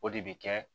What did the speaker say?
O de bɛ kɛ